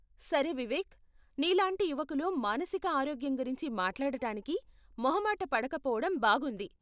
సరే వివేక్, నీ లాంటి యువకులు మానసిక ఆరోగ్యం గురించి మాట్లాడటానికి మొహమాట పడకపోవడం బాగుంది.